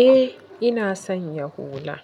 Eh ina sanya hula.